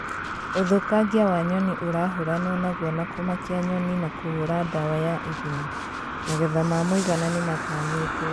Ũthũkangia wa nyoni ũrahũranwo naguo na kũmakia nyoni na kũhũra ndawa ya igunyũ. magetha ma mũigana nĩmatanyĩtwo